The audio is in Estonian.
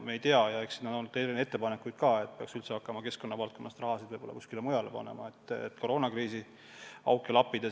Eks on olnud ka ettepanekuid, et peaks üldse hakkama keskkonna valdkonnast raha võib-olla kuskile mujale panema, et koroonakriisi auke lappida.